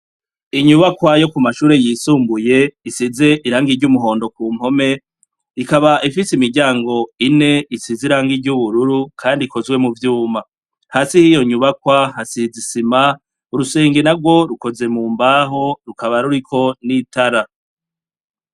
Inyubakwa yo ku mashuri yisumbuye isize irangi ry'umuhondo ku mpome , ikaba ifise imiryango ine isize irangi ry'ubururu, kandi ikozwe mu vyuma. Hasi h'iyo nyubakwa hasize isima; urusenge narwo rukoze mu mbaho rukaba ruriko n'itara.